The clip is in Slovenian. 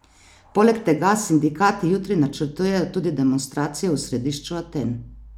Poleg tega sindikati jutri načrtujejo tudi demonstracije v središču Aten.